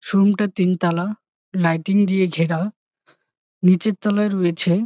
Showroom টা তিন তালা । লাইটিং দিয়ে ঘেরা নিচের তলায় রয়েছে--